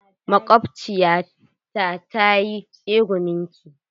Maƙwabciyata ta yi tsegumin ki.